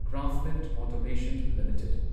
Craftsman automation limited